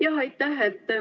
Jah, aitäh!